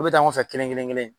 bɛ taa ɲɔgɔn fɛ kelen kelen kelen